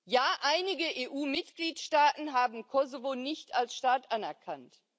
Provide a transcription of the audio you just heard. Ja, einige EU Mitgliedstaaten haben Kosovo nicht als Staat anerkannt.